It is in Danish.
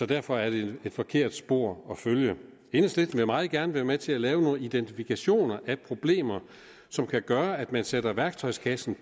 derfor er det et forkert spor at følge enhedslisten vil meget gerne være med til at lave nogle identifikationer af problemer som kan gøre at man tager værktøjskassen